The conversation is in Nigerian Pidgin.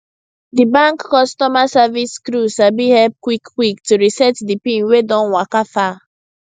di bank customer service crew sabi help quickquick to reset di pin wey don waka far